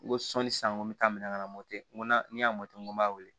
N ko sɔnni san ko n bɛ taa minɛn ka na n ko na ne y'a n ko n b'a wele